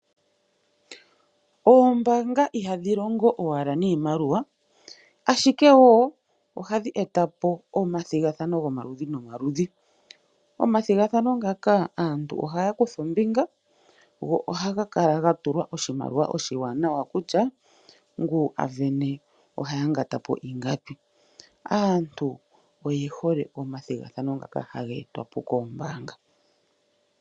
Oombanga ihadhi longo owala niimaliwa ashike wo ohadhi etapo omathigathano gomaludhi nomaludhi. Omathigathano ngaka aantu ohaya kutha ombinga go ohaga kala gatulwa oshimaliwa oshi wanawa nokutya ngu ave ne oha ya ngatapo ingapi. Aantu oye hole omathigathano ngako haga etwapo koombanga.